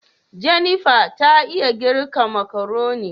" Jennifer " ta iya girka makaroni.